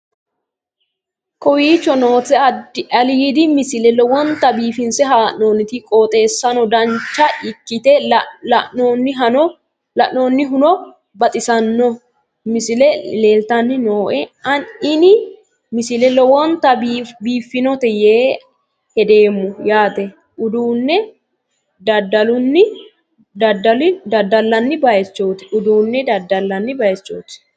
kowicho nooti aliidi misile lowonta biifinse haa'noonniti qooxeessano dancha ikkite la'annohano baxissanno misile leeltanni nooe ini misile lowonta biifffinnote yee hedeemmo yaate uduunne dadallanni baychooti